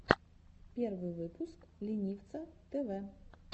первый выпуск ленивца тэвэ